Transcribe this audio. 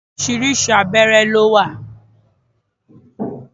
Orisirisi àwọn abéré ló wà.